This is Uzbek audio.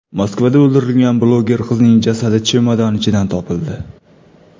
Moskvada o‘ldirilgan bloger qizning jasadi chemodan ichidan topildi.